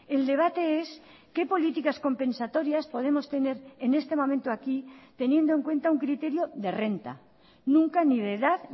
el debate es qué políticas compensatorias podemos tener en este momento aquí teniendo en cuenta un criterio de renta nunca ni de edad